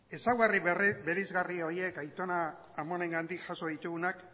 ezaugarri bereizgarri horiek aitona amonengandik jaso ditugunak